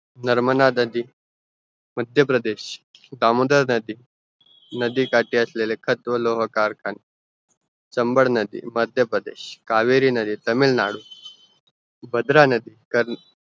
नर्मदा नदी मध्य प्रदेश दामोदर नदी नदी काटी असलेले खत व लोह कारखान चंबळ नदी मध्य प्रदेश कावेरी नदी तामिळनाडू भद्रा नदी